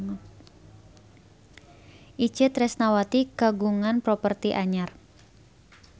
Itje Tresnawati kagungan properti anyar